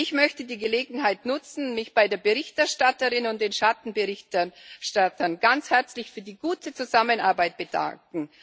Ich möchte die Gelegenheit nutzen, mich bei der Berichterstatterin und den Schattenberichterstattern ganz herzlich für die gute Zusammenarbeit zu bedanken.